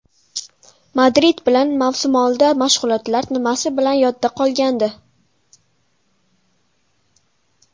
Madrid bilan mavsumoldi mashg‘ulotlar nimasi bilan yodda qolgandi?